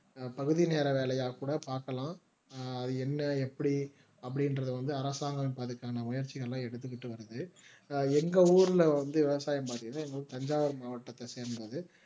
பகுதி நேர வேலையா கூட பார்க்கலாம் அது என்ன எப்படி அப்படின்றது வந்து அரசாங்கம் அதற்கான முயற்சிகள எடுத்துக்கிட்டு வருது எங்க ஊர்ல வந்து விவசாயம் பார்கையில தஞ்சாவூர் மாவட்டத்தை சேர்ந்தது